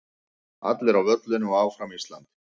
Allir á völlinn og Áfram Ísland.